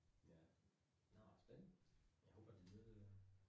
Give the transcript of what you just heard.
Ja, nåh spændende. Jeg håber du nyder det.